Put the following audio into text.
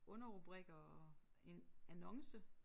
Underrubrikker og en annonce